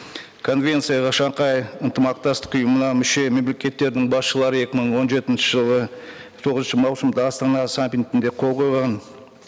конвенцияға шанхай ынтымақтастық ұйымына мүше мемлекеттірдің басшылары екі мың он жетінші жылы тоғызыншы маусымда астана саммитінде қол қойған